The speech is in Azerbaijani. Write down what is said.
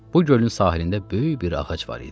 Bu gölün sahilində böyük bir ağac var idi.